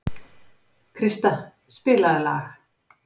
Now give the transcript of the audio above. Krista, spilaðu lag.